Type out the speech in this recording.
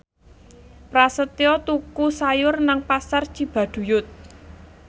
Prasetyo tuku sayur nang Pasar Cibaduyut